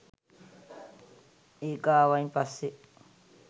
ඒක ආවායින් පස්සෙ